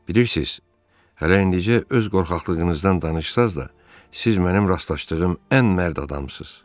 Bilirsiz, hələ indicə öz qorxaqlığınızdan danışsanız da, siz mənim rastlaşdığım ən mərd adamsınız.